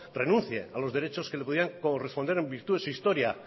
renuncie a los derechos que le podían corresponder en virtud de su historia